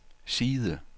side